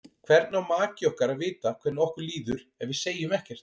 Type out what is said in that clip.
Hvernig á maki okkar að vita hvernig okkur líður ef við segjum ekkert?